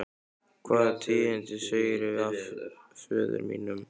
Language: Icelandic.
Hvaða tíðindi segirðu af föður mínum?